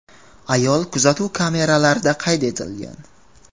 Ayol kuzatuv kameralarida qayd etilgan.